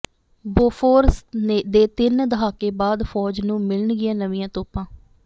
Bofors ਦੇ ਤਿੰਨ ਦਹਾਕੇ ਬਾਅਦ ਫ਼ੌਜ ਨੂੰ ਮਿਲਣਗੀਆਂ ਨਵੀਆਂ ਤੋਪਾਂ